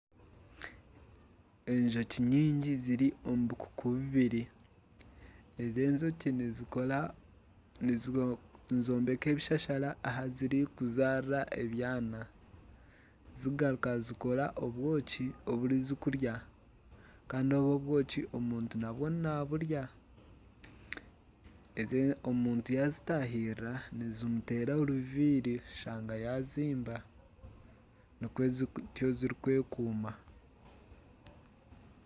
Enjoki nyingi ziri omu bukuku bubiri. Ezi enjoki nizombeka ebishashara ahi ziri kuzarira ebyaana, zigaruka zikora obwoki obu ziri kurya Kandi obwo obwoki omuntu nawe naburya. Ezi omuntu yazitahirira nizimuteera oruviri ashanga yazimba. Nikwo zitwo ziri kwekuuma.